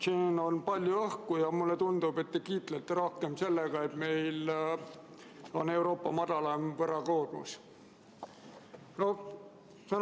Siin on palju õhku ja mulle tundub, et te kiitlete rohkem sellega, et meil on Euroopa madalaim võlakoormus.